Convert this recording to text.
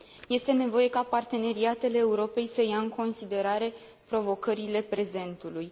Este nevoie ca parteneriatele Europei să ia în considerare provocările prezentului.